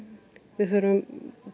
við þurfum